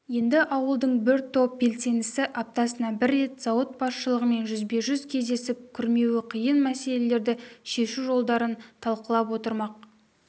енді ауылдың бір топ белсендісі аптасына бір рет зауыт басшылығымен жүзбе-жүз кездесіп күрмеуі қиын мәселелерді шешу жолдарын талқылап отырмақ